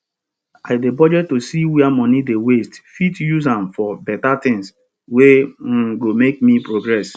i dey budget to see where money dey waste fit use am for better tins wey um go make me progress